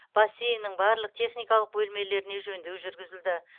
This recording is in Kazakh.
бассейннің барлық техникалық бөлмелеріне жөндеу жүргізілді